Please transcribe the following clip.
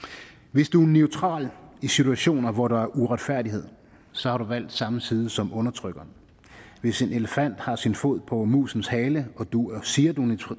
hvis du er neutral i situationer hvor der er uretfærdighed så har du valgt samme side som undertrykkeren hvis en elefant har sin fod på musens hale og du siger at du